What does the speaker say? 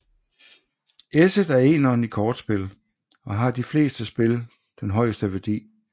Esset er eneren i kortspil og har i de fleste spil den højeste værdi